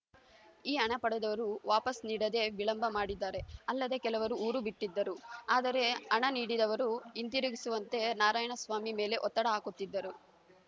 ಈ ಹಣ ಪಡೆದವರು ವಾಪಸ್‌ ನೀಡದೆ ವಿಳಂಬ ಮಾಡಿದ್ದರು ಅಲ್ಲದೆ ಕೆಲವರು ಊರು ಬಿಟ್ಟಿದ್ದರು ಆದರೆ ಹಣ ನೀಡಿದವರು ಹಿಂದಿರುಗಿಸುವಂತೆ ನಾರಾಯಣಸ್ವಾಮಿ ಮೇಲೆ ಒತ್ತಡ ಹಾಕುತ್ತಿದ್ದರು